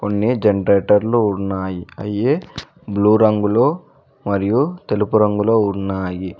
కొన్ని జనరేటర్లు ఉన్నాయి అయ్యి బ్లూ రంగులో మరియు తెలుపు రంగులో ఉన్నాయి.